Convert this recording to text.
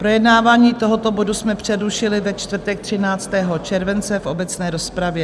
Projednávání tohoto bodu jsme přerušili ve čtvrtek 13. července v obecné rozpravě.